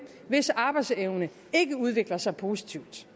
hvis arbejdsevne ikke udvikler sig positivt